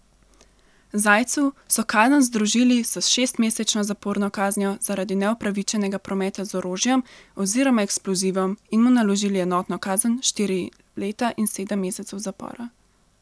Zajcu so kazen združili s šestmesečno zaporno kaznijo zaradi neupravičenega prometa z orožjem oziroma eksplozivom in mu naložili enotno kazen štiri leta in sedem mesecev zapora.